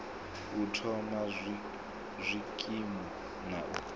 u thoma zwikimu na u